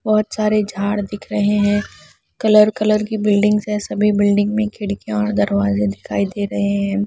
बहुत सारे झाड़ दिख रहे हैं कलर कलर की बिल्डिंग्स है सभी बिल्डिंग में खिड़कियाँ और दरवाजे दिखाई दे रहे हैं।